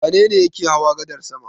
Wane ne yake hawa gadar sama?